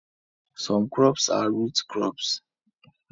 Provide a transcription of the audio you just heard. Some crops are root crops